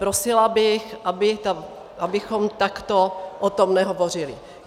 Prosila bych, abychom takto o tom nehovořili.